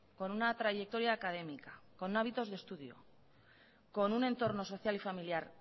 con una trayectoria académica con hábitos de estudio con un entorno social y familiar